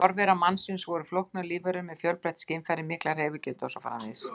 Forverar mannsins voru flóknar lífverur með fjölbreytt skynfæri, mikla hreyfigetu og svo framvegis.